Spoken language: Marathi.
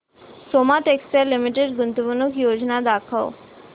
सोमा टेक्सटाइल लिमिटेड गुंतवणूक योजना दाखव